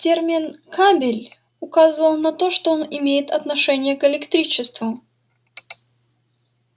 термин кабель указывал на то что он имеет отношение к электричеству